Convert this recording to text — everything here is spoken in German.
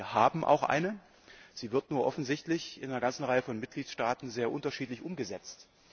Wir haben auch eine, sie wird nur offensichtlich in einer ganzen Reihe von Mitgliedstaaten sehr unterschiedlich umgesetzt.